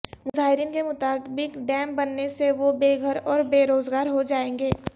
مظاہرین کے مطابق ڈیم بننے سے وہ بے گھر اور بے روزگار ہو جائیں گے